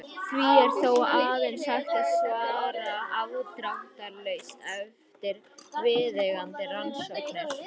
Því er þó aðeins hægt að svara afdráttarlaust eftir viðeigandi rannsóknir.